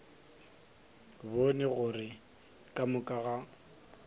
bone gore ka moka ga